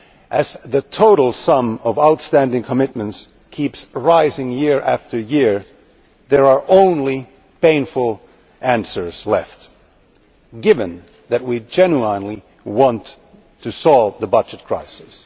As the total sum of outstanding commitments keeps rising year after year, there are only painful answers left given that we genuinely want to solve the budget crisis.